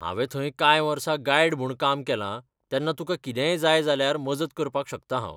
हांवें थंय कांय वर्सां गायड म्हूण काम केलां तेन्ना तुका कितेंय जाय जाल्यार मजत करपाक शकतां हांव.